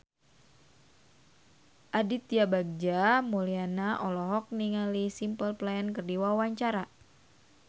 Aditya Bagja Mulyana olohok ningali Simple Plan keur diwawancara